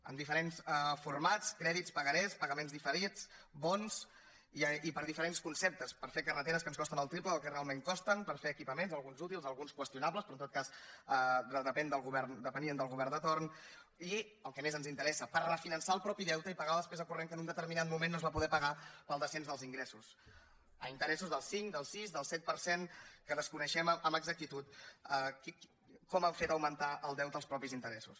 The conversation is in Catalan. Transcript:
amb diferents formats crèdits pagarés pagaments diferits bons i per diferents conceptes per fer carreteres que ens costen el triple del que realment costen per fer equipaments alguns útils alguns qüestionables però en tot cas depenien del govern de torn i el que més ens interessa per refinançar el mateix deute i pagar la despesa corrent que en un determinat moment no es va poder pagar pel descens dels ingressos a interessos del cinc del sis del set per cent que desconeixem amb exactitud com han fet augmentar el deute als mateixos interessos